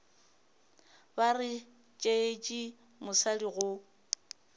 ba re tšeetše mosadi go